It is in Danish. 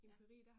Ja